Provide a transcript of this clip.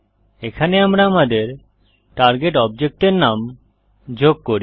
এখানে আমরা আমাদের টার্গেট অবজেক্ট এর নাম যোগ করি